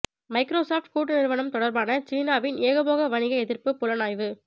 micro soft கூட்டு நிறுவனம் தொடர்பான சீனாவின் ஏகபோக வணிக எதிர்ப்புப் புலனாய்வு